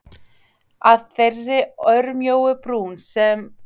Að þeirri örmjóu brún þar sem mér hefur alltaf fundist líf mitt hvíla.